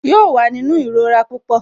Yóò wà nínú ìrora pupọ